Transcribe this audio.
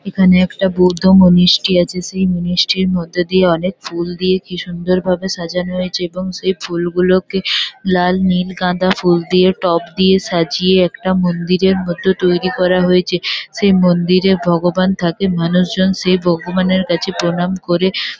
এখানে একটা বৌদ্ধ মনিষ্ঠি আছে। সেই মনিষ্ঠির মধ্যে দিয়ে অনেক ফুল দিয়ে কি সুন্দরভাবে সাজানো হয়েছে এবং সেই ফুলগুলোকে লাল নীল গাঁদা ফুল দিয়ে টব দিয়ে সাজিয়ে একটা মন্দিরের মতো তৈরী করা হয়েছে। সেই মন্দিরে ভগবান থাকে। মানুষজন সেই ভগবানের কাছে প্রণাম করে ।